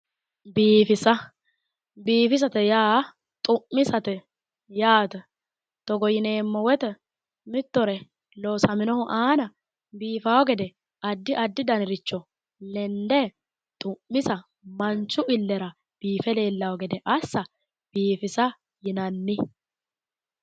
Biifisa. Biifisate yaa xu'misate yaate. Togo yineemmo woyite mittore loosaminohu aana biifawo gede addi addi daniricho lende xu'misa manchu illera biife leellawo gede assa biifisa yinanni.